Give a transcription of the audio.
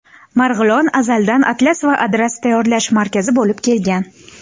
Marg‘ilon azaldan atlas va adras tayyorlash markazi bo‘lib kelgan.